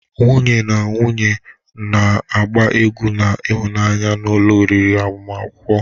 Nwunye na nwunye na-agba egwu na ịhụnanya n'ụlọ oriri agbamakwụkwọ.